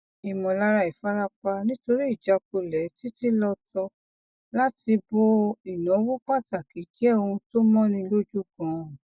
ìmọlára ìfarapa nítorí ìjakulẹ títílọtọ láti bo ináwó pàtàkì jẹ ohun tó mọni lójú ganan